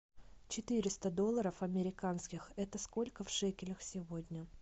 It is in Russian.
четыреста долларов американских это сколько в шекелях сегодня